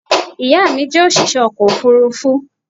ìyá mi jẹ́ òṣìṣẹ́ ọkọ̀ òfurufú